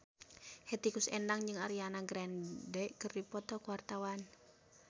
Hetty Koes Endang jeung Ariana Grande keur dipoto ku wartawan